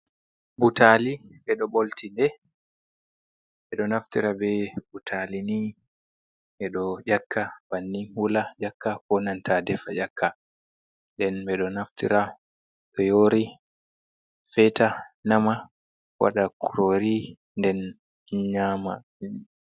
Butali beɗo bultiɗe, beɗo naftira be butali ni bedo nyakka banni wula nyakka, ko nanta ɗefa nyakka. Ɗen bedo naftira to yori feta nnama wada kurori nden nyama.